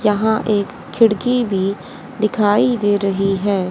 यहां एक खिड़की भी दिखाई दे रही है।